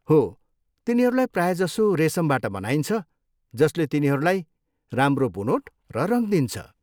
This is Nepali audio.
हो, तिनीहरूलाई प्रायजसो रेसमबाट बनाइन्छ जसले तिनीहरूलाई राम्रो बुनोट र रङ दिन्छ।